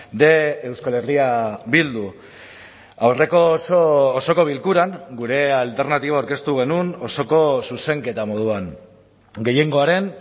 de euskal herria bildu aurreko osoko bilkuran gure alternatiba aurkeztu genuen osoko zuzenketa moduan gehiengoaren